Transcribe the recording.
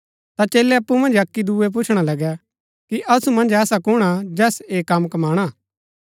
ता चेलै अप्पु मन्ज अक्की दुयेओ पुछणा लगै कि असु मन्ज ऐसा कुण हा जैस ऐह कम कमाणा